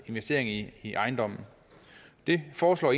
investering i i ejendommen det foreslår